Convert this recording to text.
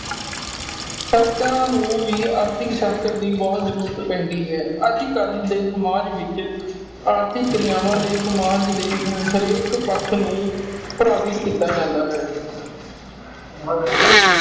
ਸੰਸਥਾ ਨੂੰ ਵੀ ਆਰਥਿਕ ਸ਼ਾਸਤਰ ਦੀ ਬਹੁਤ ਜਰੂਰਤ ਪੈਂਦੀ ਹੈ । ਅਜੇ ਕਲ ਦੇ ਸਮਾਜ ਵਿਚ ਆਰਥਿਕ ਕਿਰਿਆਵਾਂ ਲਈ ਸਮਾਜ ਦੇ ਹਰੇਕ ਪੱਖ ਨੂੰ ਪ੍ਰਭਵਿਤ੍ਰ ਕੀਤਾ ਜਾਂਦਾ ਹੈ